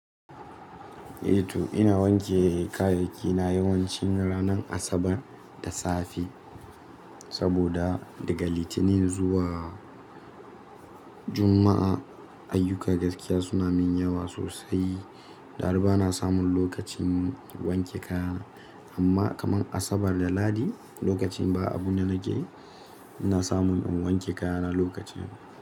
Eh to ina wanke kayayyaki na yawanci ranar Asabar da safe saboda daga Litinin zuwa Juma'a ayyuka gaskiya suna min yawa sosai. Da har ba na samun lokacin wanke kaya. Amma kaman Asabar da Ladi lokacin ba abun da nake yi ina samun in wanke kaya na lokacin.